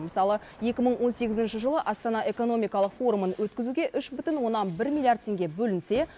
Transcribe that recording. мысалы екі мың он сегізінші жылы астана экономикалық форумын өткізуге үш бүтін оннан бір миллиард теңге бөлінсе